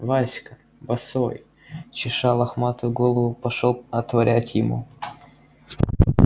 васька босой чеша лохматую голову пошёл отворять ему